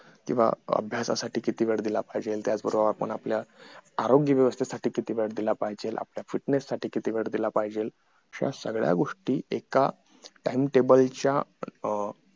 किंवा अभ्यासासाठी किती वेळ दिला पाहिजे त्याच बरोबर आपण आपल्या आरोग्य व्यवस्थेसाठी किती वेळ दिला पाहिजे आपल्या fitness साठी किती वेळ दिला पाहिजे या सगळ्या गोष्टी एका timetable च्या अं